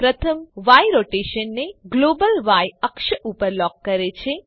પ્રથમ ય રોટેશનને global Y અક્ષ ઉપર લોક કરે છે